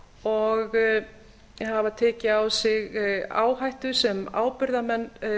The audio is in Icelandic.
og hafa tekið á sig áhættu sem ábyrgðarmenn